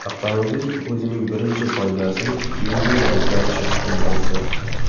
Avtomobil o‘zining birinchi poygasini keyingi yili o‘tkazishi kutilmoqda.